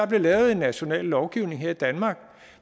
blev lavet en national lovgivning her i danmark